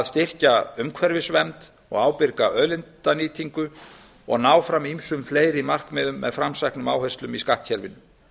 styrkja umhverfisvernd og ábyrga auðlindanýtingu og ná fram ýmsum fleiri markmiðum með framsæknum áherslum í skattkerfinu